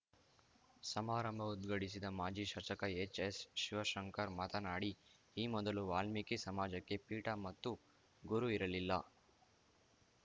ಸಮಾರಂಭ ಉದ್ಘಾಟಿಸಿದ ಮಾಜಿ ಶಾಸಕ ಎಚ್‌ಎಸ್‌ ಶಿವಶಂಕರ್‌ ಮಾತನಾಡಿ ಈ ಮೊದಲು ವಾಲ್ಮೀಕಿ ಸಮಾಜಕ್ಕೆ ಪೀಠ ಮತ್ತು ಗುರು ಇರಲಿಲ್ಲ